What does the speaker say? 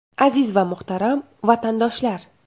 Aziz va muhtaram vatandoshlar!